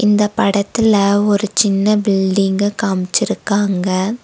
இந்த படத்துல ஒரு சின்ன பில்டிங்க காமிச்சிருக்காங்க.